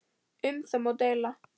Um það má deila.